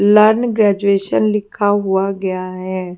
Learn graduation लिखा हुआ गया है।